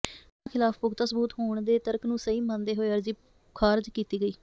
ਮੁਲਜ਼ਮਾਂ ਖ਼ਿਲਾਫ਼ ਪੁਖ਼ਤਾ ਸਬੂਤ ਹੋਣ ਦੇ ਤਰਕ ਨੂੰ ਸਹੀ ਮੰਨਦੇ ਹੋਏ ਅਰਜ਼ੀ ਖ਼ਾਰਜ ਕੀਤੀ ਗਈ